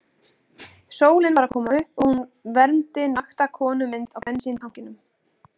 Sólin var að koma upp og hún vermdi nakta konumynd á bensíntanknum.